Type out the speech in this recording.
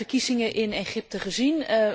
Wij hebben de verkiezingen in Egypte gezien.